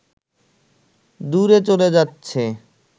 দূরে চলে যাচ্ছে